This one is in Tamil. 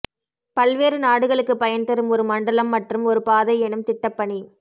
பல்வேறு நாடுகளுக்குப் பயன் தரும் ஒரு மண்டலம் மற்றும் ஒரு பாதை எனும் திட்டப்பணி